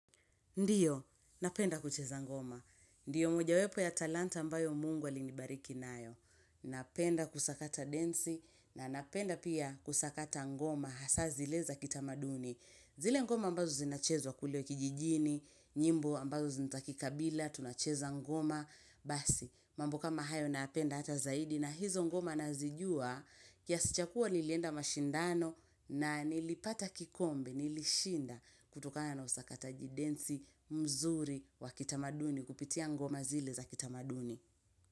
Ndiyo, napenda kucheza ngoma. Ndiyo mojawepo ya talanta ambayo mungu alinibariki nayo. Napenda kusakata densi na napenda pia kusakata ngoma hasa zile za kitamaduni. Zile ngoma ambazo zinachezwa kule kijijini, nyimbo ambazo zintakikabila, tunacheza ngoma. Basi, mambo kama hayo nayapenda hata zaidi na hizo ngoma nazijua kiasi cha kuwa nilienda mashindano na nilipata kikombe, nilishinda kutokana na usakataji densi mzuri wa kitamaduni kupitia ngoma zile za kitamaduni.